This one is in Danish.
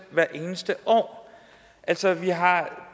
hvert eneste år altså vi har